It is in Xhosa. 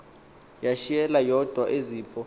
yashiyeka yodwa seziphu